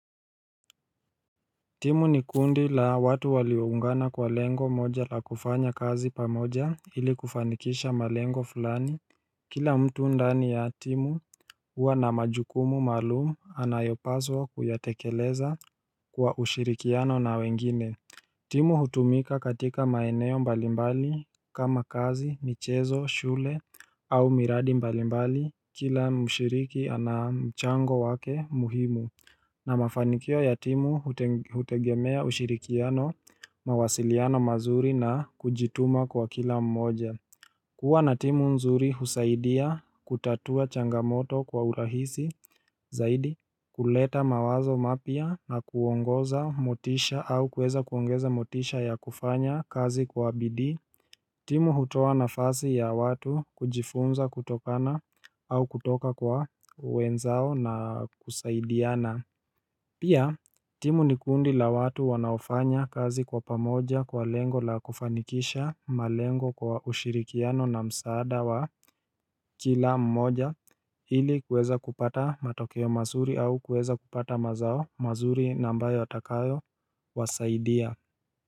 Timu ni kundi la watu waliungana kwa lengo moja la kufanya kazi pamoja ili kufanikisha malengo fulani Kila mtu ndani ya timu huwa na majukumu malumu anayopaswa kuyatekeleza kwa ushirikiano na wengine timu hutumika katika maeneo mbalimbali kama kazi michezo shule au miradi mbalimbali kila mshiriki ana mchango wake muhimu na mafanikio ya timu hutegemea ushirikiano mawasiliano mazuri na kujituma kwa kila mmoja kuwa na timu nzuri husaidia kutatua changamoto kwa urahisi zaidi kuleta mawazo mapia na kuongoza motisha au kueza kuongeza motisha ya kufanya kazi kwa BD timu hutoa nafasi ya watu kujifunza kutokana au kutoka kwa wenzao na kusaidiana Pia timu ni kundi la watu wanaofanya kazi kwa pamoja kwa lengo la kufanikisha malengo kwa ushirikiano na msaada wa kila mmoja ili kuweza kupata matokeo mazuri au kuweza kupata mazao mazuri nambayo atakayo wasaidia.